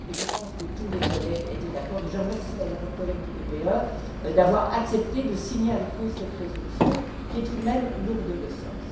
Je pense que tous les collègues étaient d'accord et je remercie d'ailleurs mes collègues du PPE d'avoir accepté de signer avec nous cette résolution, qui est tout de même lourde de sens.